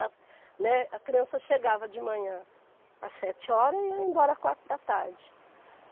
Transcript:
né, a criança chegava de manhã às sete horas e ia embora às quatro da tarde.